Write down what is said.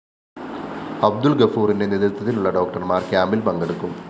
അബ്ദുല്‍ ഗഫൂറിന്റെ നേതൃത്വത്തിലുള്ള ഡോക്ടര്‍മാര്‍ ക്യാമ്പില്‍ പങ്കെടുക്കും